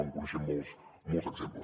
en coneixem molts exemples